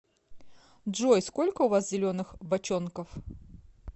джой сколько у вас зеленых бочонков